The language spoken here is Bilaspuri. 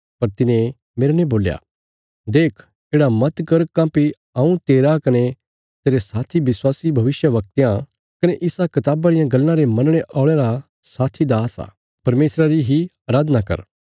पर तिने मेरने बोल्या देख येढ़ा मत कर काँह्भई हऊँ तेरा कने तेरे साथी विश्वासी भविष्यवक्तयां कने इसा कताबा रियां गल्लां रे मनणे औल़यां रा साथी दास आ परमेशरा री ही अराधना कर